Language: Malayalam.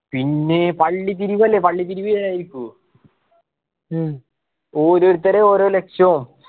പിന്നെ പള്ളിപിരിവ് അല്ലെ പള്ളിപ്പിരിവ് ഓരോരുത്തര് ഓരോ ലക്ഷോ